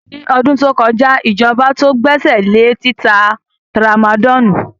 Ní ọdún tó kọja ijọba tó gbèsèlé títa tramadọlù.